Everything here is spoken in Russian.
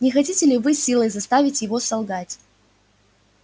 не хотите ли вы силой заставить его солгать